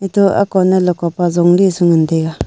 atoh akow ne leko pa jong ley su ngan tega.